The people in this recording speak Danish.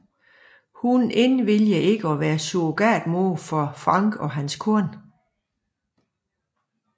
Hun indviliger i at være surrogatmor for Frank og hans kone